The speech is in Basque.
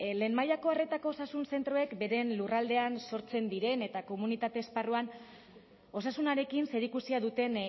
lehen mailako arretako osasun zentroek beren lurraldean sortzen diren eta komunitate esparruan osasunarekin zerikusia duten